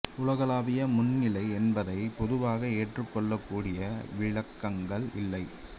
உலகளாவிய மந்தநிலை என்பதை பொதுவாக ஏற்றுக் கொள்ளக்கூடிய விளக்கங்கள் இல்லை